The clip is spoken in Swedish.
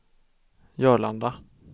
Jörlanda